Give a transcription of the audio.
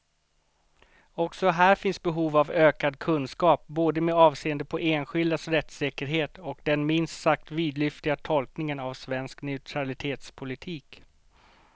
Också här finns behov av ökad kunskap, både med avseende på enskildas rättssäkerhet och den minst sagt vidlyftiga tolkningen av svensk neutralitetspolitik.